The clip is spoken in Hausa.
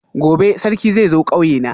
gobe Sarki zai zo kauyena